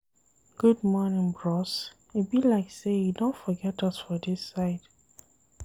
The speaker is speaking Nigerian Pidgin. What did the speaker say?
Good morning bros, e be like sey you don forget us for dis side.